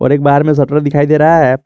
और एक बाहर में शटर दिखाई दे रहा है।